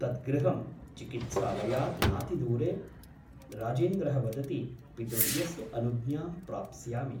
तत् गृहं चिकित्सालयात् नातिदूरे । राजेन्द्रः वदति पितृव्यस्य अनुज्ञां प्राप्स्यामि ।